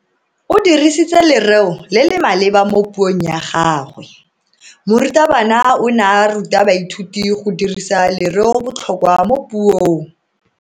O dirisitse lereo le le maleba mo puong ya gagwe. Morutabana o ne a ruta baithuti go dirisa lereobotlhokwa mo puong.